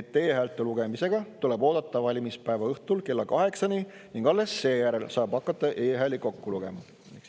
et e-häälte lugemisega tuleb oodata valimispäeva õhtul kella 8-ni ning alles seejärel saab hakata e-hääli kokku lugema.